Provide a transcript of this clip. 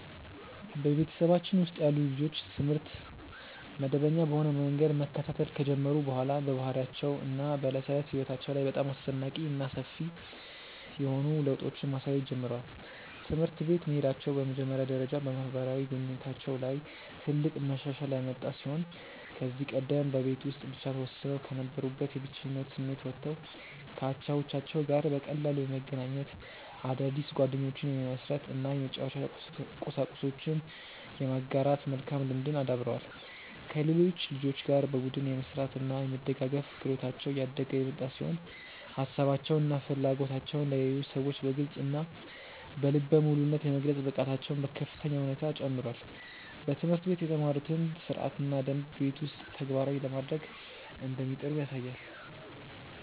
በቤተሰባችን ውስጥ ያሉ ልጆች ትምህርት መደበኛ በሆነ መንገድ መከታተል ከጀመሩ በኋላ በባህሪያቸው እና በዕለት ተዕለት ሕይወታቸው ላይ በጣም አስደናቂ እና ሰፊ የሆኑ ለውጦችን ማሳየት ችለዋል። ትምህርት ቤት መሄዳቸው በመጀመሪያ ደረጃ በማህበራዊ ግንኙነታቸው ላይ ትልቅ መሻሻል ያመጣ ሲሆን ከዚህ ቀደም በቤት ውስጥ ብቻ ተወስነው ከነበሩበት የብቸኝነት ስሜት ወጥተው ከአቻዎቻቸው ጋር በቀላሉ የመገናኘት፣ አዳዲስ ጓደኞችን የመመስረት እና የመጫወቻ ቁሳቁሶችን የመጋራት መልካም ልምድን አዳብረዋል። ከሌሎች ልጆች ጋር በቡድን የመስራት እና የመደጋገፍ ክህሎታቸው እያደገ የመጣ ሲሆን ሀሳባቸውን እና ፍላጎቶቻቸውን ለሌሎች ሰዎች በግልፅ እና በልበ ሙሉነት የመግለጽ ብቃታቸውም በከፍተኛ ሁኔታ ጨምሯል። በትምህርት ቤት የተማሩትን ሥርዓትና ደንብ ቤት ውስጥም ተግባራዊ ለማድረግ እንደሚጥሩ ያሳያል።